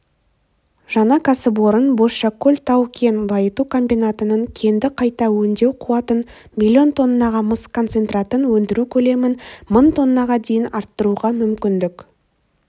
жаңа кәсіпорын бозшакөл тау-кен байыту комбинатының кенді қайта өңдеу қуатын миллион тоннаға мыс концентратын өндіру көлемін мың тоннаға дейін арттыруға мүмкіндік